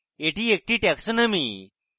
এটি একটি taxonomy